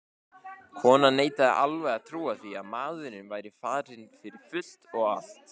Konan neitaði alveg að trúa því að maðurinn væri farinn fyrir fullt og allt.